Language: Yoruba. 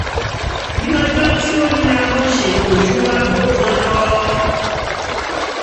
ní ọjọ́ tí ó nira mo ṣètò ju aago kan lọ